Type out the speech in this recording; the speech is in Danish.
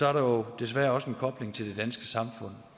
er der jo desværre også en kobling til det danske samfund